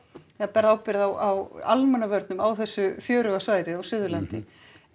berð ábyrgð á almannavörnum á þessu fjöruga svæði á Suðurlandi